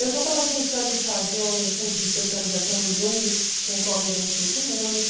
Eu já estava pensando em fazer um curso de especialização no Jung, com o qual me identifico muito.